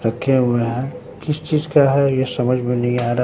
रखे हुए है किस चीज का है ये समझ में नहीं आ रा--